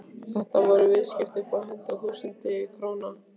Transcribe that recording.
Þetta voru viðskipti upp á hundruð þúsunda króna.